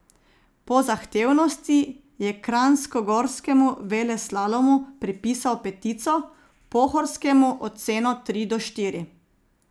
Po zahtevnosti je kranjskogorskemu veleslalomu pripisal petico, pohorskemu oceno tri do štiri.